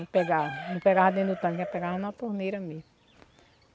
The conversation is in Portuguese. Não pegava, não pegava dentro do tanque, nós pegava na torneira mesmo.